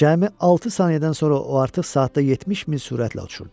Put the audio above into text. Cəmi altı saniyədən sonra o artıq saatda 70 mil sürətlə uçurdu.